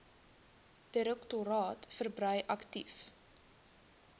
direktoraat verbrei aktief